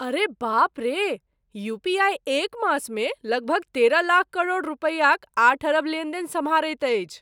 अरे बाप रे! यूपीआई एक मासमे लगभग तेरह लाख करोड़ रुपयाक आठ अरब लेनदेन सम्हारैत अछि ।